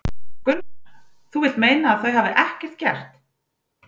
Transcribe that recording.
Gunnar: Þú vilt meina að þau hafi bara ekkert gert?